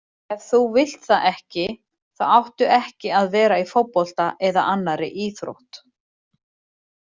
Ef þú vilt það ekki þá áttu ekki að vera í fótbolta eða annarri íþrótt.